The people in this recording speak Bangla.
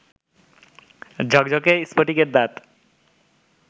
ঝকঝকে স্ফটিকের দাঁত